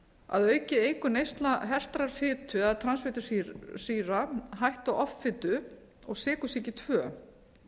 að auki eykur neysla hertrar fitu eða transfitusýra hættu á offitu og sykursýki tvö